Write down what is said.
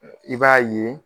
I b'a ye